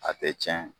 A tɛ cɛn